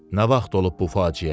Nə vaxt olub bu faciə?